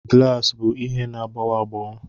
Glaasị bụ ihe na-agbawa agbawa